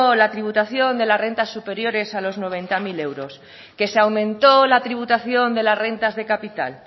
la tributación de las rentas superiores a los noventa mil euros que se aumentó la tributación de las rentas de capital